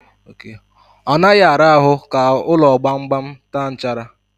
Ọ naghị ara ahụ ka ụlọ gbamgbam taa nchara.